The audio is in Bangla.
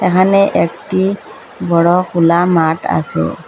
এহানে একটি বড় খোলা মাঠ আসে।